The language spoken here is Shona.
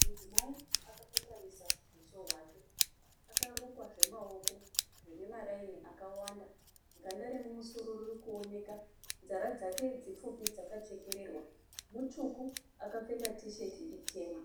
Mudzimai akakotamisa huso hwake akarukwa zvemaoko zvine maraini akawanda ganda remumusoro riri kuoneka nzara dzake dzipfupi dzakachekererwa mutsvuku akapfeka tisheti itema